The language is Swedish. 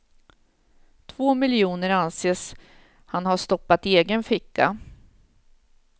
Två miljoner anses han ha stoppat i egen ficka.